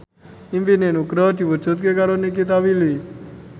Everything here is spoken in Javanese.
impine Nugroho diwujudke karo Nikita Willy